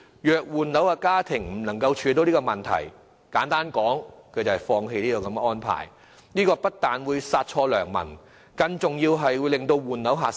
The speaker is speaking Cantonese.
若換樓家庭無法處理這問題，簡單而言便要放棄這個安排，這不但會殺錯良民，更重要的是會令換樓的買家減少。